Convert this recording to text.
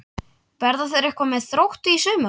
Verða þeir eitthvað með Þrótti í sumar?